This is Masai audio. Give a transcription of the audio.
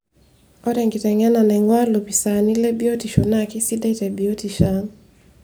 Ore enkitengena nainguaa lopisaani lebiotisho naa keisidai tebiotisho ang'.